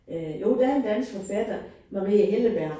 Øh jo der er en dansk forfatter. Marie Helleberg